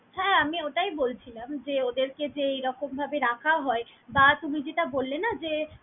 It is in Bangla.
হ্যাঁ আমি অটাই বলছিলাম যে ওদেরকে যে এরকম ভাবে রাখা হয় বা তুমি যেটা বল্লে না যে।